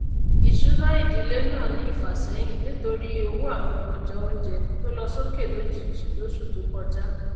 ìsúná ìdílé náà ní ìfàsẹyìn nítorí owó àwọn ọjà oúnjẹ tó lọ sókè lójijì lọsù tó kọjá